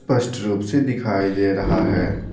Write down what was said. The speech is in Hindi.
स्पष्ट रूप से दिखाई दे रहा है।